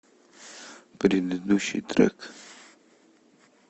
предыдущий трек